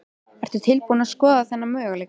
Ertu tilbúin að skoða þann möguleika?